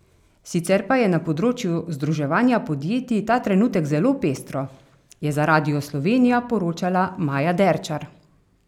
Sicer pa je na področju združevanja podjetij ta trenutek zelo pestro, je za Radio Slovenija poročala Maja Derčar.